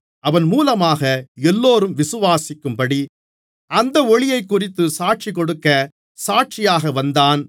அவன் மூலமாக எல்லோரும் விசுவாசிக்கும்படி அந்த ஒளியைக்குறித்துச் சாட்சிகொடுக்க சாட்சியாக வந்தான்